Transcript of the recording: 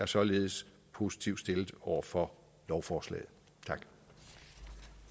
således positivt over for lovforslaget